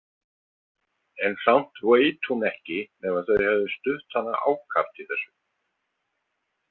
En samt veit hún ekki nema þau hefðu stutt hana ákaft í þessu.